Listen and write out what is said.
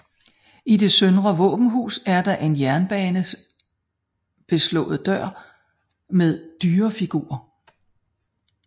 I det søndre våbenhus er der en jernbeslået dør med dyrefigurer